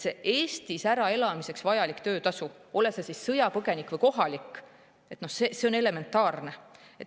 Eestis äraelamiseks vajalik töötasu, ole sa sõjapõgenik või kohalik – see on elementaarne.